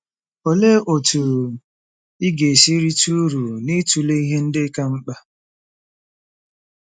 Olee otú ị ga-esi rite uru n'ịtụle ihe ndị ka mkpa?